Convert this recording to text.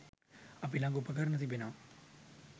අපි ළඟ උපකරණ තිබෙනවා.